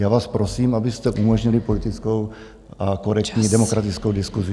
Já vás prosím, abyste umožnili politickou a korektní demokratickou diskusi.